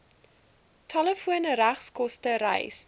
telefoon regskoste reis